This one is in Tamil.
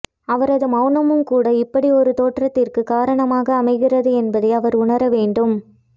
அவரது மௌனமும்கூட இப்படியொரு தோற்றத்திற்குக் காரணமாக அமைகிறது என்பதை அவர் உணர வேண்டும்